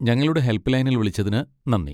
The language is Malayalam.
ഞങ്ങളുടെ ഹെൽപ് ലൈനിൽ വിളിച്ചതിന് നന്ദി.